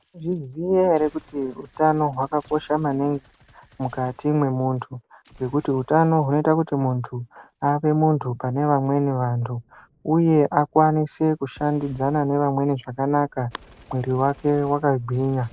Munozviziya ere kuti utano hwakakosha maningi mukati mwemunthu nekuti utano hunoita kuti munthu ave munthu panevamweni vanthu uye akwanise kushandidzana nevamweni zvakanaka mwiri wake wakagwinya.